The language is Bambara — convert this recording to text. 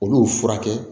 Olu furakɛ